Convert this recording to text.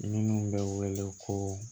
Minnu bɛ wele ko